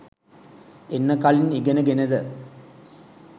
එන්න කලින් ඉගෙනගෙනද